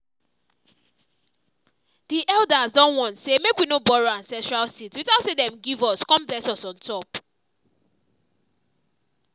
the elders don warn say make we no borrow ancestral seeds without say them give us con bless us on top